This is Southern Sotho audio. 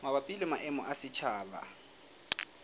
mabapi le maemo a setjhaba